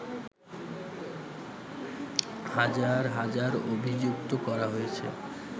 হাজার হাজার অভিযুক্ত করা হয়েছে